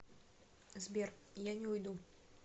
сбер я не уйду